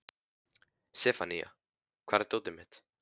Sefanía, hvar er dótið mitt?